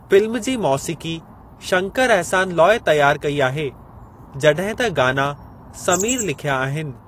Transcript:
Film जी मौसीक़ी शंकर अहसानु लोई तयार कई आहे जॾहिं त गाना समीर लिख्या आहिनि।